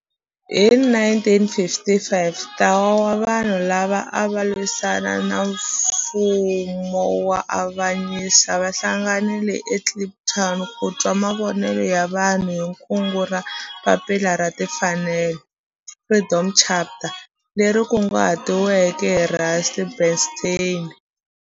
Hi 1955 ntlawa wa vanhu lava ava lwisana na nfumo wa avanyiso va hlanganile eKliptown ku twa mavonelo ya vanhu hi kungu ra Papila ra Tinfanelo Freedom Charter leri kunguhatiweke hi Rusty Bernstein.